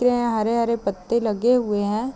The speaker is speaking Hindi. यहाँ हरे-हरे पत्ते लगे हुए है।